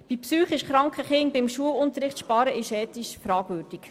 Bei psychisch kranken Kindern beim Schulunterricht zu sparen, ist ethisch fragwürdig.